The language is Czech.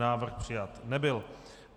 Návrh přijat nebyl.